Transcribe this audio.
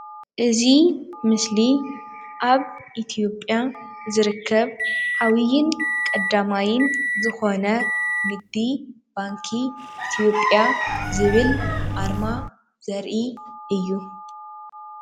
እዚ ምስሊ ኣብ ኢትዮጵያ ዝርከብ ዓብዩን ቀዳማይን ዝኮነ ንግዲ ባንኪ ኢትዮጵያ ዝብል ኣርማ ዘርኢ እዩ።